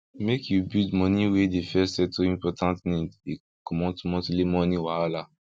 make u build money wey dey first settle important need dey comot monthly money wahala